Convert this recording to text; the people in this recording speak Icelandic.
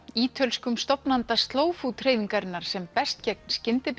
ítölskum stofnanda slow food hreyfingarinnar sem berst gegn